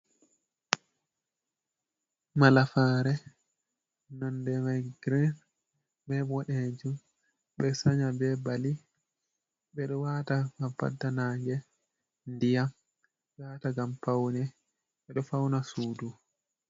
Malafare nonde mai grein be boɗejom, ɓeɗo sa nya be bali, ɓeɗo wata ha fadda nage, diyam, ɓeɗo wata gam paune, ɓeɗo fauna sudu.